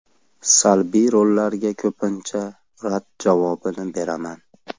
Salbiy rollarga ko‘pincha rad javobini beraman.